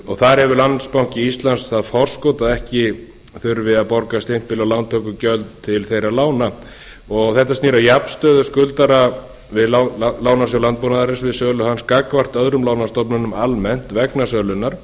og þar hefur landsbanki íslands það forskot að ekki þurfi að borga stimpil og lántökugjöld til þeirra lána þetta snýr að jafnstöðu skuldara við lánasjóð landbúnaðarins gagnvart öðrum lánastofnunum almennt vegna sölunnar